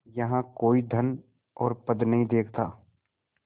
यहाँ कोई धन और पद नहीं देखता